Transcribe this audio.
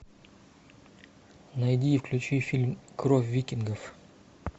найди и включи фильм кровь викингов